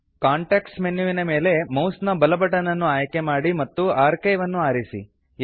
context ಮೆನುವಿನ ಮೇಲೆ mouse ನ ಬಲ ಬಟನ್ ಅನ್ನು ಕ್ಲಿಕ್ ಮಾಡಿ ಮತ್ತು ಆರ್ಕೈವ್ ಅನ್ನು ಆರಿಸಿ